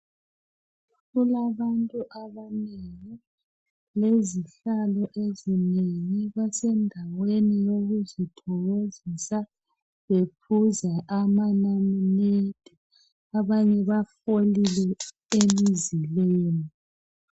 Kulabantu abanengi lezihlalo ezinengi basendaweni yokuzithokozisa bephuza amanamunede abanye bafolile emzileni